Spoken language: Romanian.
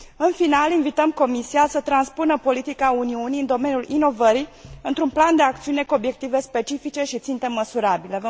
În final, invităm Comisia să transpună politica Uniunii în domeniul inovării într un plan de acțiune cu obiective specifice și ținte măsurabile.